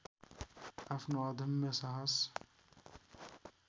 आफ्नो अदम्य साहस